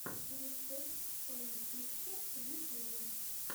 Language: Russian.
рецепт соня пикчерс в ютюбе